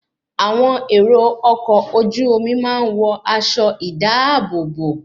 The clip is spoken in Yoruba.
Àwọn èrò ọkọ̀ ojú omi máa ń wọ aṣọ ìdáàbòbò